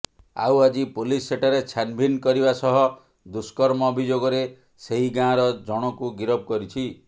ଆଉ ଆଜି ପୋଲିସ ସେଠାରେ ଛାନ୍ଭିନ୍ କରିବା ସହ ଦୁଷ୍କର୍ମ ଅଭିଯୋଗରେ ସେହି ଗାଁର ଜଣଙ୍କୁ ଗିରଫ କରିଛି